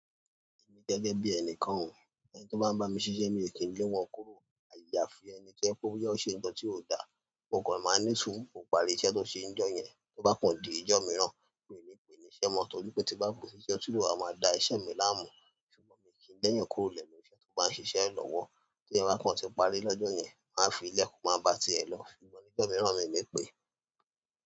Gẹ́gẹ́ bí ẹnìkan o, ẹni tó bá ń bá mi s'isé mi lè kí ń lé wọn kúrò. Àyà fi ẹni tó jé pé bóyá ó ṣe ńkan tí ò da, mo kò ma ma ní sùúrù kó parí iṣẹ́ tó ṣe n'jó yẹn. Tó bá kọ̀n di ijó mìíràn, mi ní pè é níṣẹ́ mọ́, torí pé ti bá n pè e síṣẹ́ ó tún lè wá máa da iṣẹ́ mi láàmú. Ṣùgbọ́n mi kì í lé'yàn kúrò lẹ́nu iṣẹ́ tó bá ń ṣiṣẹ́ lọ́wọ́. T'èèyàn bá kòn ti parí lọ́jọ́ yẹn, wón á f'ilẹ̀ kó ma bá tí ẹ̀ lo, ṣùgbọ́n nígbà mìíràn mi ò ní pè é.